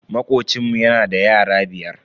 Makocinmu yana da yara biyar.